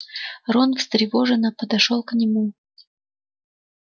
рон встревоженно подошёл к нему